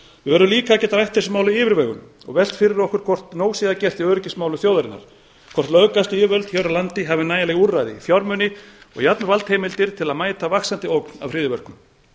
við verðum líka að geta rætt þessi mál af yfirvegun og velt fyrir okkur hvort nóg sé að gert í öryggismálum þjóðarinnar hvort löggæsluyfirvöld hér á landi hafi nægileg úrræði fjármuni og valdheimildir til að mæta vaxandi ógn af hryðjuverkum